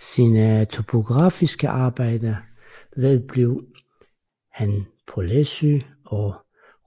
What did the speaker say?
Sine topografiske arbejder vedblev han på Læsø og i